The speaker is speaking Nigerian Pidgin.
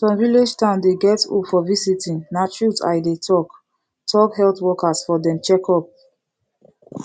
some village town dey get hope for visiting na truth i dey talk talk health workers for dem checkup